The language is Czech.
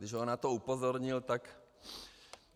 Když ho na to upozornil, tak...